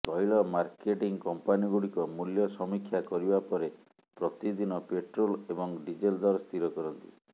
ତୈଳ ମାର୍କେଟିଂ କମ୍ପାନୀଗୁଡିକ ମୂଲ୍ୟ ସମୀକ୍ଷା କରିବା ପରେ ପ୍ରତିଦିନ ପେଟ୍ରୋଲ ଏବଂ ଡିଜେଲ ଦର ସ୍ଥିର କରନ୍ତି